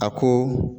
A ko